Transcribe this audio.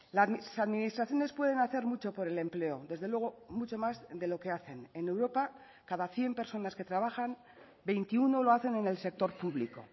las administraciones pueden hacer mucho por el empleo desde luego mucho más de lo que hacen en europa cada cien personas que trabajan veintiuno lo hacen en el sector público